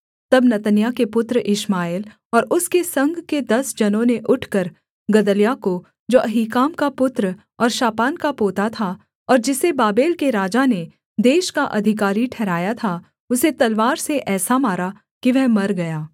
तब नतन्याह के पुत्र इश्माएल और उसके संग के दस जनों ने उठकर गदल्याह को जो अहीकाम का पुत्र और शापान का पोता था और जिसे बाबेल के राजा ने देश का अधिकारी ठहराया था उसे तलवार से ऐसा मारा कि वह मर गया